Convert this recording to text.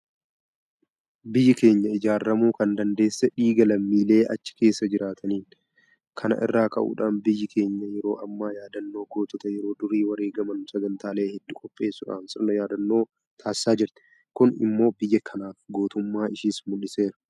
Biyyi keenya ijaaramuu kan dandeesse dhiiga lammiilee achi keessa jiraniitiini. Kana irraa ka'uudhaan biyyi keenya yeroo ammaa yaadannoo gootota yeroo durii wareegaman sagantaalee hedduu qopheessuudhaan sirna yaadannoo taasisaa jirti. Kun immoo biyya kanaaf gootummaa ishees mul'iseera.